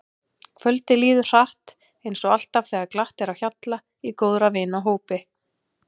Kvöldið líður hratt eins og alltaf þegar glatt er á hjalla í góðra vina hópi.